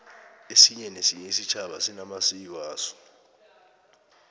esinye nesinye isitjhaba sinamasiko aso